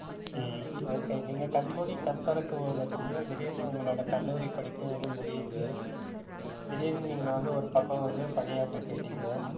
உம் okay நீங்க கண் மூடி கண் திறக்கும் போது திடீர்ன்னு உங்களோட கல்லூரிப் படிப்பும் வந்து முடியுது. திடீர்ன்னு நீங்க வந்து ஒரு பக்கம் வந்து பணியாற்ற போயிட்டிங்க